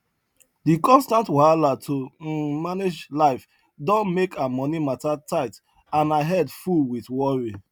de constant wahala to um manage life don make her money mata tight and her head full wit worry